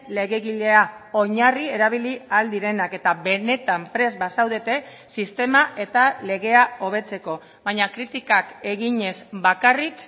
legegilea oinarri erabili ahal direnak eta benetan prest bazaudete sistema eta legea hobetzeko baina kritikak eginez bakarrik